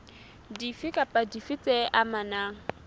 dife kapa dife tse amanang